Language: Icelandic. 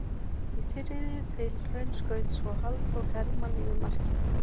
Í þriðju tilraun skaut svo Halldór Hermann yfir markið.